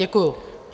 Děkuji.